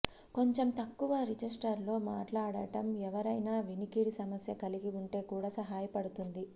కొంచెం తక్కువ రిజిస్టర్లో మాట్లాడటం ఎవరైనా వినికిడి సమస్య కలిగి ఉంటే కూడా సహాయపడుతుంది